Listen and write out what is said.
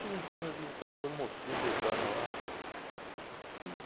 Cheguei em casa e vi aquelas duas mocinhas deitadas lá, rapaz. Falei